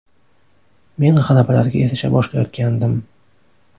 Men g‘alabalarga erisha boshlayotgandim.